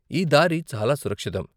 ఈ దారి చాలా సురక్షితం.